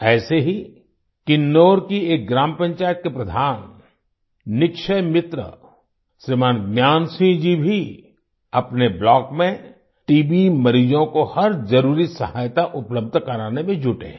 ऐसे ही किन्नौर की एक ग्राम पंचायत के प्रधान निक्षय मित्र श्रीमान ज्ञान सिंह जी भी अपने ब्लॉक में टीबी मरीजों को हर जरुरी सहायता उपलब्ध कराने में जुटे हैं